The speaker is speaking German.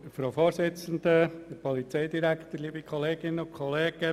Ich bitte Sie, ihn ebenfalls abzulehnen.